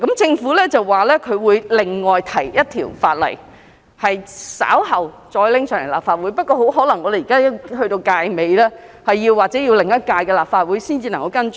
政府表示會另外提交一項法案，稍後再提交立法會，但本屆立法會的任期即將完結，或許要下一屆立法會才能跟進。